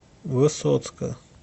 высоцка